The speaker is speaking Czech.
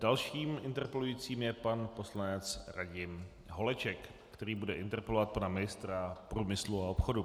Dalším interpelujícím je pan poslanec Radim Holeček, který bude interpelovat pan ministra průmyslu a obchodu.